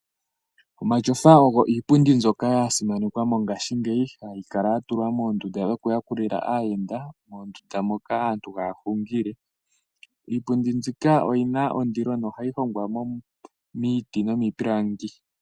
Omatyofa ogo iipundi mbyoka yasimanekwa mongashingeyi , hayi kala yatulwa mondunda yokuyakulila aayenda, moondunda moka aantu haya hungile . Iipundi mbika oyina ondilo nohayi longwa miiti nomiipilangi ,mbyoka yasimanekwa mongaashingeyi, hayi kala yatulwa mondunda yokuyakulila aayenda, moka aantu haya hungile. Iipundi mbyika oyina ondilo nohayi longwa miiti nomiipilangi.